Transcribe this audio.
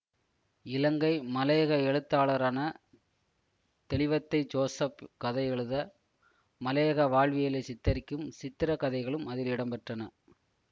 இலங்கை மலையக எழுத்தாளரான தெளிவத்தை ஜோசப் கதை எழுத மலையக வாழ்வியலை சித்தரிக்கும் சித்திரக்கதைகளும் அதில் இடம்பெற்றன